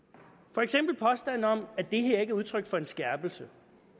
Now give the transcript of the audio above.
for eksempel påstanden om at det her ikke er udtryk for en skærpelse